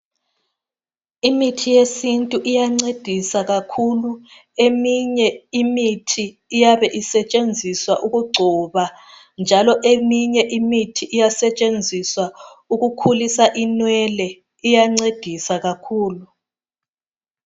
Imithi yesintu iyancedisa kakhulu eminye imithi iyabe isetshenziswa ukugcoba njalo eminye imithi iyasetshenziswa ukukhulisa inwele iyancedisa kakhulu.